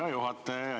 Hea juhataja!